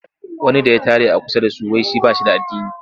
Wani da ya tare a kusa da su.wai shi ba shi da addini.